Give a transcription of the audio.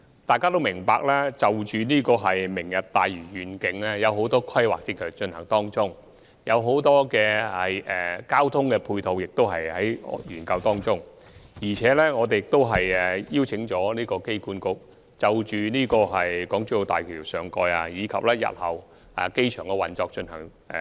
大家都明白，就着"明日大嶼願景"，有很多規劃正在進行，也有很多交通配套方案正在研究，我們亦已邀請機管局就港珠澳大橋上蓋及日後機場的運作進行研究。